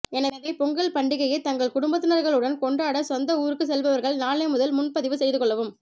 எனவே பொங்கல் பண்டிகையை தங்கள் குடும்பத்தினர்களுடன் கொண்டாட சொந்த் ஊருக்கு செல்பவர்கள் நாளை முதல் முன்பதிவு செய்து கொள்ளவும்